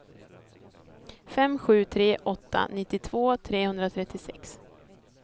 fem sju tre åtta nittiotvå trehundratrettiosex